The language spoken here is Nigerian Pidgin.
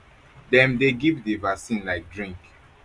dem dey give di vaccine like drink